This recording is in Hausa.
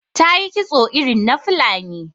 Ta yi kitso irin na Fulani.